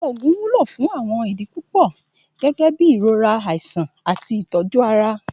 Òògùn wúlò fún àwọn idi pupọ gẹgẹbi irora, aisan ati ìtọ̀ju Ara.